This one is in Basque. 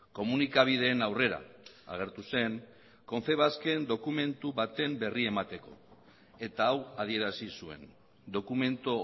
komunikabideen aurrera agertu zen confebasken dokumentu baten berri emateko eta hau adierazi zuen dokumentu